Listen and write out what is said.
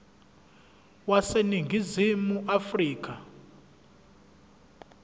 wase ningizimu afrika